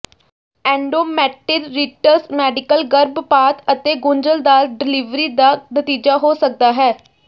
endometritis medical ਗਰਭਪਾਤ ਅਤੇ ਗੁੰਝਲਦਾਰ ਡਲਿਵਰੀ ਦਾ ਨਤੀਜਾ ਹੋ ਸਕਦਾ ਹੈ